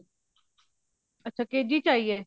ਅੱਛਾ KG ਆਈ ਐ